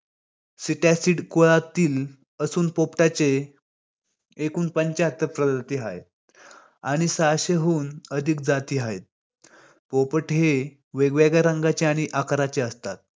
कुळातील असून पोपटाचे एकूण पंचाहत्तर प्रवृत्ती आहेत आणि सहाशे हून अधिक जाती आहेत. पोपट हे वेग-वेगळ्या रंगाचे आणि आकाराचे असतात.